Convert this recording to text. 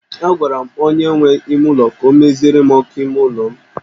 Agwara m onye nwe ụlọ ka ọ meziere m ọkụ ime ụlọ m